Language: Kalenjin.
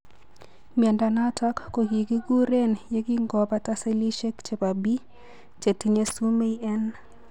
Miondo noton kokigikuren yegingobata selishek chebo B chetinye sumei en